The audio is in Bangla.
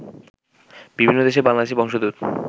বিভিন্ন দেশে বাংলাদেশি বংশোদ্ভূত